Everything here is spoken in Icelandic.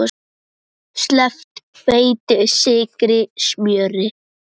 Sleppt hveiti, sykri, smjöri.